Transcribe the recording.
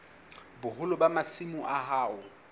boholo ba masimo a hao